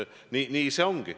Nii see on.